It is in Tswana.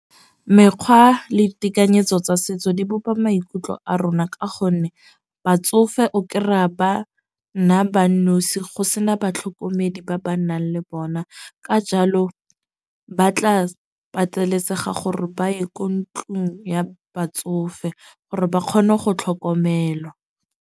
Mekgwa le ditekanyetso tsa setso di bopa maikutlo a rona. Ka gonne batsofe o kry-a ba nna ba nosi go sena batlhokomedi ba ba nnang le bona. Ka jalo ba tla pateletsega gore ba ye ko ntlong ya batsofe, gore ba kgone go tlhokomelwa.